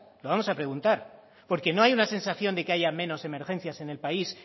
lo vamos a preguntar porque no hay una sensación de que haya menos emergencias en el país